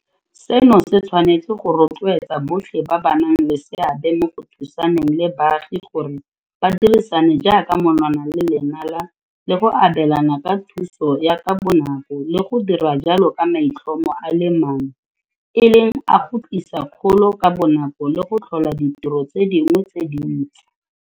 Seno se tshwanetse go rotloetsa botlhe ba ba nang le seabe mo go thusaneng le baagi gore ba dirisane jaaka monwana le lenala le go abelana ka thuso ya ka bonako le go dira jalo ka maitlhomo a le mang e leng a go tlisa kgolo ka bonako le go tlhola ditiro tse dingwe tse dintsi.